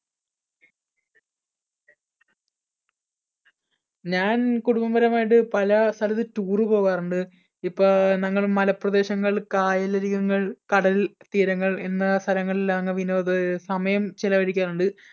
ഞാൻ കുടുംബപരമായിട്ട് പല സ്ഥലത്തും tour പോകാറുണ്ട്. ഇപ്പോ ഞങ്ങൾ മലപ്രദേശങ്ങൾ, കായലരികങ്ങൾ, കടൽതീരങ്ങൾ എന്ന സ്ഥലങ്ങളിലാണ് വിനോദ സമയം ചെലവഴിക്കാറുണ്ട്.